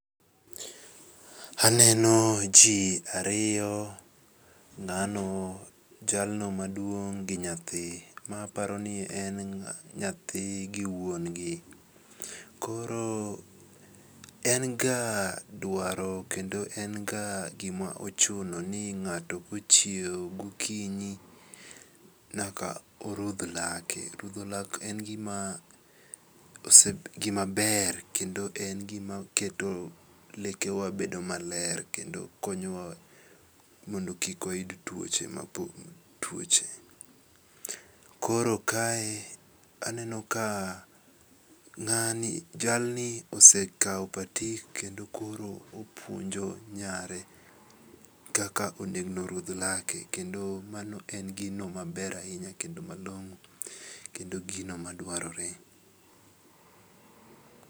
Aneno ji ariyo ng'ano jalno maduong' gi nyathi, mae aparo ni en nyathi gi wuongi koro en ga dwaro kendo en ga gima ochuno ni ng'ato kochiewo gokinyi nyaka oruth lake, rutho lak en gima ber kendo en gimaketo lekewa bedo maler kendo konyowa mondo kik wayud twoche koro kae aneno ka ng'ani jalni osekawo patik kendo koro opwonjo nyare kaka onego ruth lake kendo koro kendo mano en gimaber ahinya kendo gino maduarore